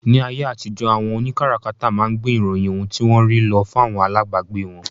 Ní ayé àtijó, àwọn òní kárakáta máa ń gbé ìròyìn ohun tí wọ́n rí lọ fún àwọn alábagbé wọn